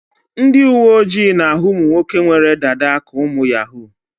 Ndị uwe ojii na-ahụ ụmụ nwoke nwere dada ka ụmụ yahoo.